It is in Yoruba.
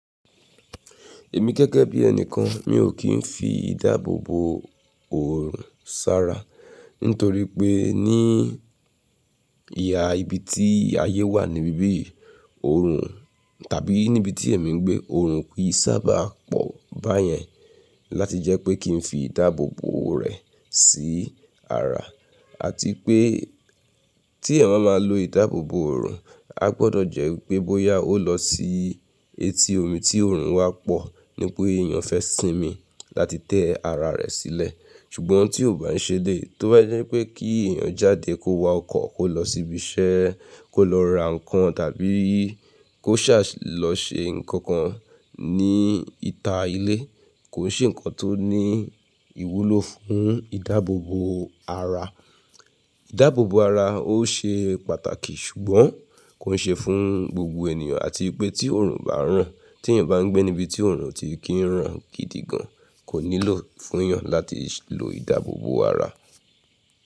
Èmi gẹ́gẹ́ bí ẹni kan, mi ò kí ń fi ìdáàbòbò òrùn sára nítorí pé ní ìhà ibi tí ayé wà níbi yìí, òrùn tàbí níbi tí èmi ń gbé, òrùn kì í sábà pọ̀ báyẹn láti jẹ́ pé kí n fi ìdáàbòbò rẹ̀ sí ara àti pé tí ẹ̀má ma lo ìdáàbòbò òrùn, a gbọdọ̀ jẹ́ pé bóyá ó lọ sí etí omi tí òrùn wá pọ̀ ní pé èèyàn fẹ́ sinmi láti tẹ́ ara rẹ̀ sílẹ̀. Ṣùgbọ́n tí ò bá ń ṣe dé, tó bá jẹ́ pé kí èèyàn jáde kó wa ọkọ̀, kó lọ síbi iṣẹ́, kó lọ ra nǹkan tàbí kó ṣà lọ ṣe nǹkan kan ní ìta ilé, kò ń ṣe nǹkan tó ní ìwúlò fún ìdáàbòbò ara. Ìdáàbòbò ara ó ṣe pàtàkì ṣùgbọ́n kò ń ṣe fún gbogbo ènìyàn àti pé tí òrùn bá ràn, tí èèyàn bá ń gbé níbi tí òrùn ti kí ń ràn gidi gan, kò nílò fún èèyàn láti lo ìdáàbòbò ara.